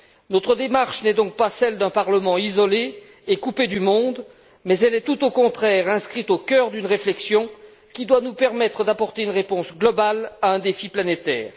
Notre démarche n'est donc pas celle d'un Parlement isolé et coupé du monde, mais elle est tout au contraire inscrite au cœur d'une réflexion qui doit nous permettre d'apporter une réponse globale à un défi planétaire.